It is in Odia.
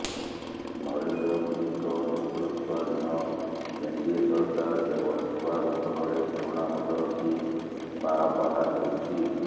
ନରେନ୍ଦ୍ର ମୋଦିଙ୍କ ନେତୃତ୍ୱାଧୀନ ଏନ୍ଡିଏ ସରକାର କେବଳ ନୂଆ ବୋତଲରେ ପୁରୁଣା ମଦ ରଖି ବାହା ବାହା ନେଉଛି